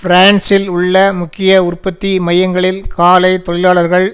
பிரான்சில் உள்ள முக்கிய உற்பத்தி மையங்களில் காலை தொழிலாளர்கள்